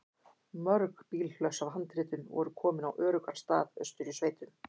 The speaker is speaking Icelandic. Mörg bílhlöss af handritum voru komin á öruggan stað austur í sveitum.